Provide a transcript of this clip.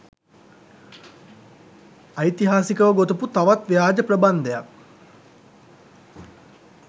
ඓතිහාසිකව ගොතපු තවත් ව්‍යාජ ප්‍රබන්ධයක්.